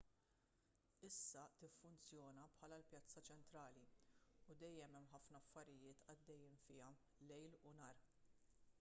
issa tiffunzjona bħala l-pjazza ċentrali u dejjem hemm ħafna affarijiet għaddejjin fiha lejl u nhar